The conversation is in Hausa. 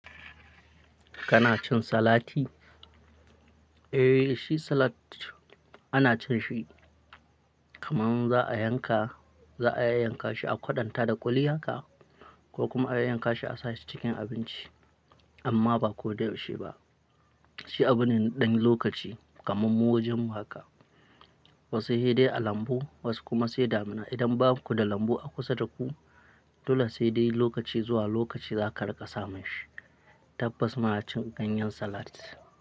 Kana cin salati? Eh, shi salat, ana cin shi, kaman za a yanka, za a yayyanka shi a kwaɗanta da ƙuli haka. Ko kuma a yayyanka shi a sashi cikin abinci. Amma ba ko da yaushe ba. Shi abu ne ɗan lokaci, kaman mujinmu haka. Wasu hede a lambu, wasu kuma sai damina. Idan baku da lambu a kusa da ku, dole sai dai lokaci zuwa lokaci za ka riƙa samun shi. Tabbas, muna cin ganyen salat.